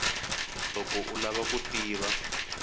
loko u lava ku tiva